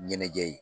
Ɲɛnajɛ ye